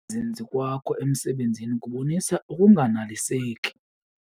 zinzi kwakho emisebenzini kubonisa ukunganeliseki.